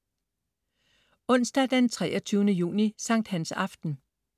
Onsdag den 23. juni. Sankthans aften